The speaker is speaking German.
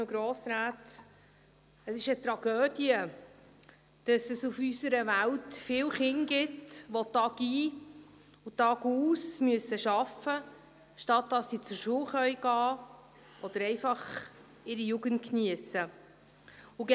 Es ist eine Tragödie, dass es auf unserer Welt viele Kinder gibt, die tagein, tagaus arbeiten müssen, anstatt dass sie zur Schule gehen oder einfach ihre Jugend geniessen können.